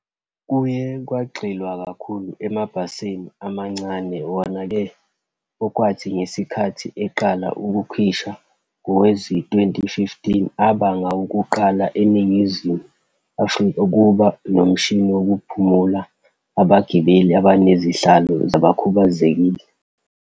Kuye kwagxilwa kakhulu emabhasini amancane, wona-ke, okwathi ngesikhathi eqala ukukhishwa ngowezi-2015, abangawokuqala eNingizimu Afrika ukuba nomshini wokukhuphula abagibeli abanezihlalo zabakhubazekile.